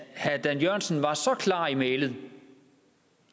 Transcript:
herre dan jørgensen var så klar i mælet